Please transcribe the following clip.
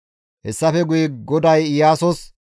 Hessafe guye GODAY Iyaasos,